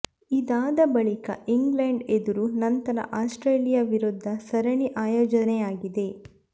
ಇದಾದ ಬಳಿಕ ಇಂಗ್ಲೆಂಡ್ ಎದುರು ನಂತರ ಆಸ್ಟ್ರೇಲಿಯಾ ವಿರುದ್ಧ ಸರಣಿ ಆಯೋಜನೆಯಾಗಿದೆ